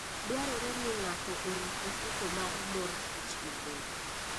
Dwarore ni ng'ato orit ofuko mar mor kich maber.